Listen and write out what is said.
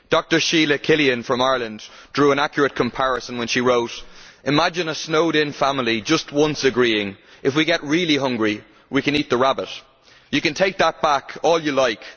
Dr Sheila Killian from Ireland drew an accurate comparison when she wrote Imagine a snowed in family just once agreeing that, if we get really hungry, we can eat the rabbit'. You can take that back all you like.